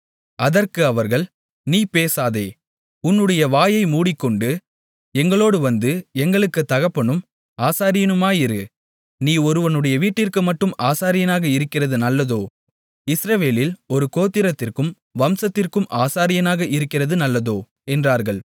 அதற்கு அவர்கள் நீ பேசாதே உன்னுடைய வாயை மூடிக்கொண்டு எங்களோடு வந்து எங்களுக்குத் தகப்பனும் ஆசாரியனுமாயிரு நீ ஒருவனுடைய வீட்டிற்கு மட்டும் ஆசாரியனாக இருக்கிறது நல்லதோ இஸ்ரவேலில் ஒரு கோத்திரத்திற்கும் வம்சத்திற்கும் ஆசாரியனாக இருக்கிறது நல்லதோ என்றார்கள்